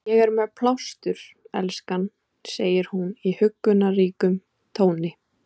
Ég er með plástur, elskan, segir hún í huggunarríkum tóni.